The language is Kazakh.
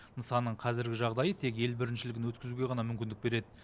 нысанның қазіргі жағдайы тек ел біріншілігін өткізуге ғана мүмкіндік береді